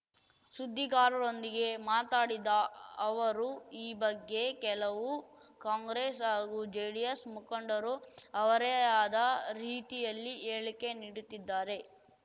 ಸುದ್ದಿಗಾರರೊಂದಿಗೆ ಮಾತಡಿದ ಅವರು ಈ ಬಗ್ಗೆ ಕೆಲವು ಕಾಂಗ್ರೆಸ್‌ ಹಾಗೂ ಜೆಡಿಎಸ್‌ ಮುಖಂಡರು ಅವರೇ ಆದ ರೀತಿಯಲ್ಲಿ ಹೇಳಿಕೆ ನೀಡುತ್ತಿದ್ದಾರೆ